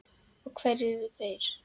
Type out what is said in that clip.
Og hverjir eru þeir?